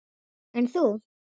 LÁRUS: En þú?